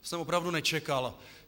To jsem opravdu nečekal.